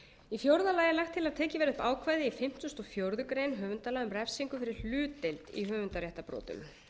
í fjórða lagi er lagt til að tekið verði upp ákvæði í fimmtugasta og fjórðu grein höfundalaga um refsingu fyrir hlutdeild í höfundaréttarbrotum